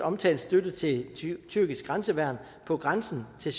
omtalte støtte til et tyrkisk grænseværn på grænsen til